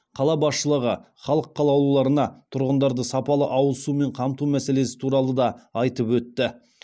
қала басшылығы халық қалаулыларына тұрғындарды сапалы ауызсумен қамту мәселелесі туралы да айтып өтті